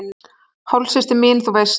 Hálfsystir mín, þú veist.